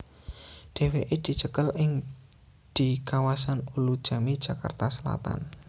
Dhéwéké dicekel ing di kawasan Ulujami Jakarta Selatan